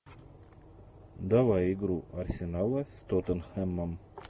давай игру арсенала с тоттенхэмом